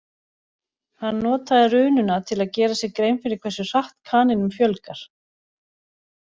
Hann notaði rununa til að gera sér grein fyrir hversu hratt kanínum fjölgar.